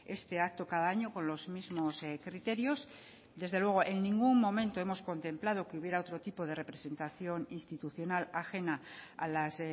este acto cada año con los mismos criterios desde luego en ningún momento hemos contemplado que hubiera otro tipo de representación institucional ajena a las